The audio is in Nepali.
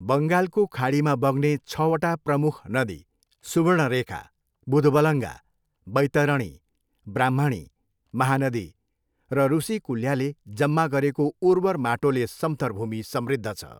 बङ्गालको खाडीमा बग्ने छवटा प्रमुख नदी सुवर्णरेखा, बुधबलङ्गा, बैतरणी, ब्राह्मणी, महानदी र रुसिकुल्याले जम्मा गरेको उर्वर माटोले समथर भूमि समृद्ध छ।